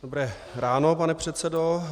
Dobré ráno, pane předsedo.